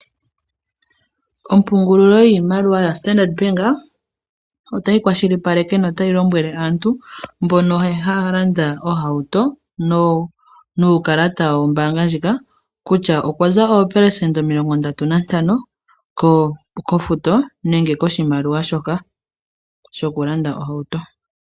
Ompungulilo yiimaliwa yaStandard Bank otayi kwashilipaleke notayi lombwele aantu mbono haya landa oohauto nuukalata wombaanga ndjika kutya okwa za 35% kofuto nenge koshimaliwa shoka shokulanda ohauto.